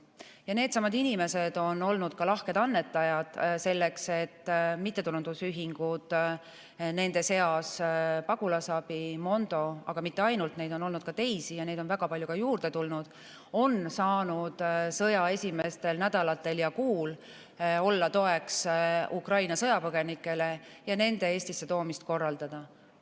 Ja needsamad inimesed on olnud lahked annetajad, selleks et mittetulundusühingud – nende seas on Pagulasabi, Mondo, aga mitte ainult, neid on olnud ka teisi ja neid on väga palju juurde tulnud – on saanud sõja esimestel nädalatel ja kuul olla toeks Ukraina sõjapõgenikele ja nende Eestisse toomist korraldada.